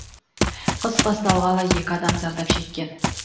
қыс басталғалы екі адам зардап шеккен